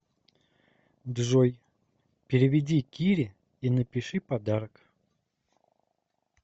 джой переведи кире и напиши подарок